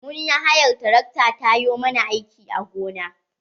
Mun yi hayar tarakta ta yo ma na aiki a gona.